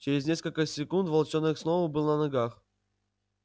через несколько секунд волчонок снова был на ногах